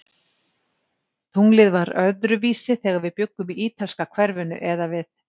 Tunglið var öðruvísi, þegar við bjuggum í ítalska hverfinu eða við